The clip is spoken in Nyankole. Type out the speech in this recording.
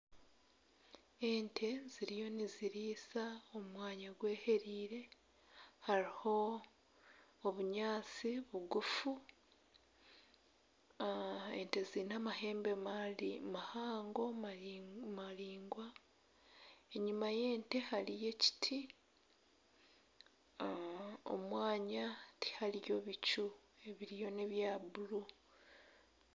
Ente ziriyo nizirisiza omu mwanya gw'ehereire hariho obunyaatsi bugufu ente ziine amahembe mahango maraingwa enyima y'ente hariyo ekiti omu mwanya tihariyo bicu ebiriyo n'ebya bururu.